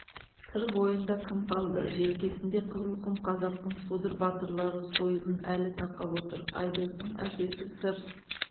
сыр бойында кім қалды желкесінде қызылқұм қазақтың содыр батырлары сойылын әлі тақап отыр айдостың әкесі сыр